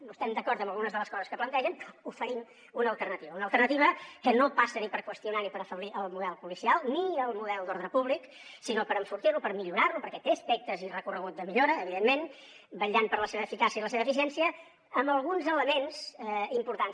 no estem d’acord amb algunes de les coses que plantegen oferim una alternativa una alternativa que no passa ni per qüestionar ni per afeblir el model policial ni el model d’ordre públic sinó per enfortir lo per millorar lo perquè té aspectes i recorregut de millora evidentment vetllant per la seva eficàcia i la seva eficiència amb alguns elements importants